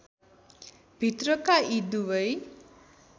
भित्रका यी दुवै